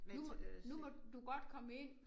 Nu må nu må du godt komme ind!